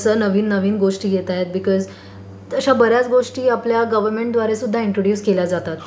कारण नवीन नवीन गोष्टी येतायत बीकोज तशा बर् याच गोष्टी आपल्या गव्हर्नमेंटद्वारे सुद्धा इंट्रड्यूस केल्या जातात.